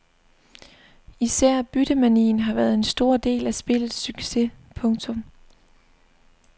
Især byttemanien har været en stor del af spillets succes. punktum